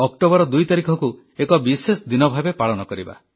October 2 ତାରିଖକୁ ଏକ ବିଶେଷ ଦିନ ଭାବେ ପାଳନ କରିବା